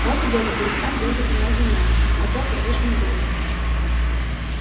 ради бога перестань дёргать меня за ноги а то оторвёшь мне голову